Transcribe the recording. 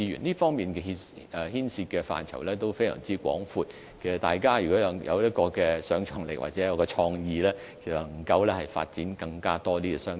這方面所牽涉的範疇非常廣，大家若有想象力或創意，便能夠發掘更多商機。